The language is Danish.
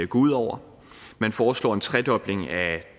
gå ud over man foreslår en tredobling af